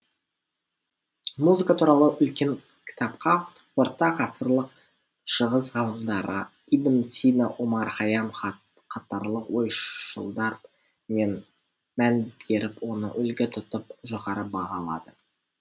музыка туралы үлкен кітапқа орта ғасырлық шығыс ғалымдары ибн сина омар хайям қатарлы ойшылдар мән беріп оны үлгі тұтып жоғары бағалады